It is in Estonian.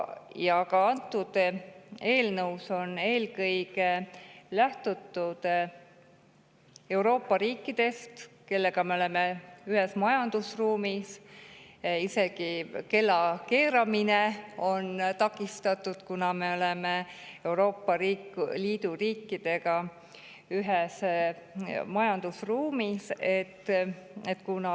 Ka antud eelnõus on eelkõige lähtutud Euroopa Liidu riikidest, kellega me oleme ühises majandusruumis, isegi kellakeeramine on takistatud, kuna me oleme Euroopa Liidu riikidega ühises majandusruumis.